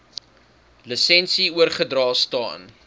lisensie oorgedra staan